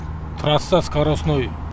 трасса скоростной